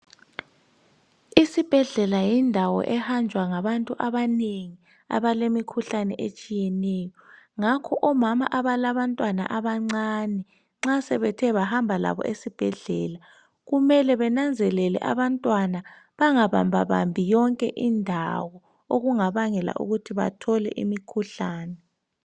Isibhedlela yindawo ehanjwa ngabantu abanengi abalemikhuhlane etshiyeneyo ngakho omama abalabantwana abancane nxa sebethe bahamba labo esibhedlela kumele benanzelele umntwana bengabambabambi yonke indawo okungabangela ukuthi bathole imikhuhlane